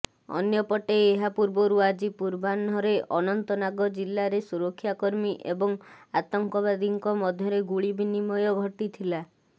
ଅନ୍ୟପଟେ ଏହା ପୂର୍ବରୁ ଆଜି ପୂର୍ବାହ୍ନରେ ଅନନ୍ତନାଗ ଜିଲାରେ ସୁରକ୍ଷାକର୍ମୀ ଏବଂ ଆତଙ୍କବାଦୀଙ୍କ ମଧ୍ୟରେ ଗୁଳିବିନିମୟ ଘଟିଥିଲା